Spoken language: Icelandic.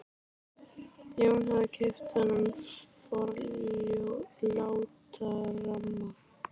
Jón hafði keypt þennan líka forláta ramma.